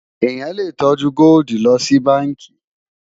èyán lè tọjú goldi ló ṣì bánkì